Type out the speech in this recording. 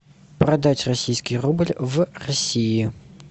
продать российский рубль в россии